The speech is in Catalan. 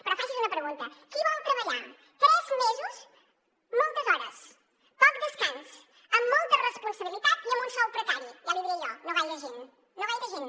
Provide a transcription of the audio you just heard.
però faci’s una pregunta qui vol treballar tres mesos moltes hores poc descans amb molta responsabilitat i amb un sou precari ja l’hi diré jo no gaire gent no gaire gent